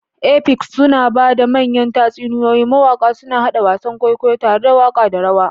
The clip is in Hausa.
Epics suna ba da manyan tatsuniyoyi, mawaƙa suna haɗa wasan kwaikwayo tare da waƙa da rawa.